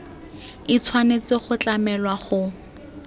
e tshwanetse go tlamelwa go